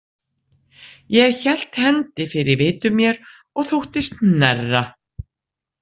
Ég hélt hendi fyrir vitum mér og þóttist hnerra.